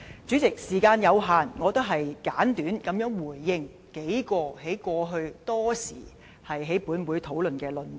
主席，時間有限，我簡短回應數項，過去多時在本會討論的論點。